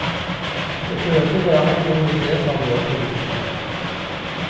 Det burde være en god idé for våre politikere.